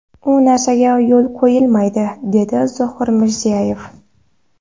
U narsaga yo‘l qo‘yilmaydi”, dedi Zoir Mirzayev.